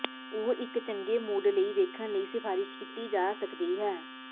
ਉਹ ਇੱਕ ਚੰਗੇ ਮੂਡ ਲਈ ਵੇਖਣ ਲਈ ਸਿਫਾਰਸ਼ ਕੀਤੀ ਜਾ ਸਕਦੀ ਹੈ